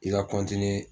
I ka